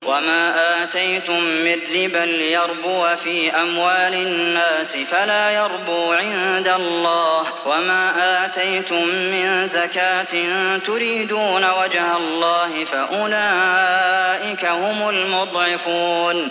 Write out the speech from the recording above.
وَمَا آتَيْتُم مِّن رِّبًا لِّيَرْبُوَ فِي أَمْوَالِ النَّاسِ فَلَا يَرْبُو عِندَ اللَّهِ ۖ وَمَا آتَيْتُم مِّن زَكَاةٍ تُرِيدُونَ وَجْهَ اللَّهِ فَأُولَٰئِكَ هُمُ الْمُضْعِفُونَ